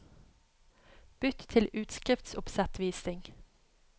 Bytt til utskriftsoppsettvisning